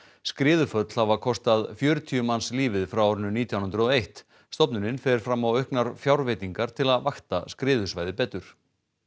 skriðuföll hafa kostað fjörutíu manns lífið frá árinu nítján hundruð og eitt stofnunin fer fram á auknar fjárveitingar til að vakta skriðusvæði betur